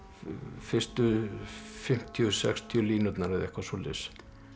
fyrstu fimmtíu til sextíu línurnar eða eitthvað svoleiðis